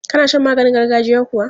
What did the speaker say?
Ka na shan maganin gargajiya kuwa?